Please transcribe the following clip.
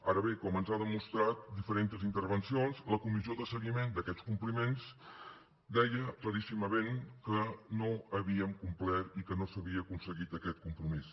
ara bé com ens han demostrat diferents intervencions la comissió de seguiment d’aquests compliments deia claríssimament que no havíem complert i que no s’havia aconseguit aquest compromís